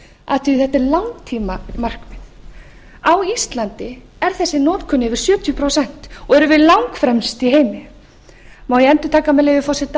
að þetta er langtímamarkmið á íslandi er þessi notkun yfir sjötíu prósent og erum við langfremst í heimi má ég endurtaka með leyfi forseta